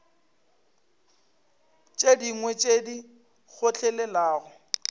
tše dingwe tše di kgotlelelago